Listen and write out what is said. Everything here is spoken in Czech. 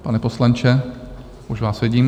Pane poslanče, už vás vidím.